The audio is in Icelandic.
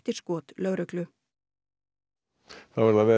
skot lögreglu þá er það veður